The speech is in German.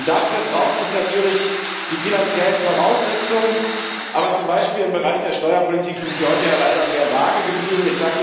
Dafür braucht es natürlich die finanziellen Voraussetzungen. Aber zum Beispiel im Bereich der Steuerpolitik sind Sie heute ja leider sehr vage geblieben.